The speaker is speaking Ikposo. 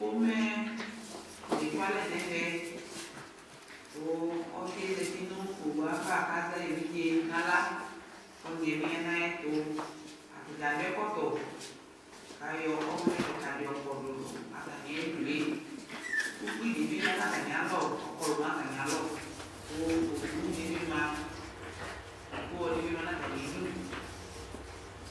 Ƒome l'ekualɛ n'ɛvɛ: kʋ osɩɛ zati nʋ owuava kazɛ ay'evidze n'aɣla , k'ɔnyɩɛ bɩ ya n'ayɛtʋ Atadza akɔ ɛkɔtɔ, kayɔ ɔvlɛkɩka dɩ yɔ kɔdʋ nʋ atanɩ ayidue Ukpidɩ ya n'atamɩalɔ ɔkɔlʋ n'atamɩalɔ, kʋ owudɩ bɩ ma , k'owudɩ bɩ ma n'atamidu